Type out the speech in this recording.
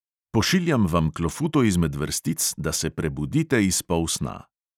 Pošiljam vam klofuto izmed vrstic, da se prebudite iz polsna.